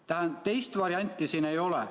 Tähendab, teist varianti siin ei ole.